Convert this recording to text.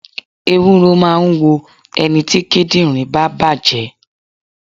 Ewúro máà ń wo ẹniti kíndìnrín bá bàjé